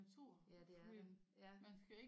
Ja det er der ja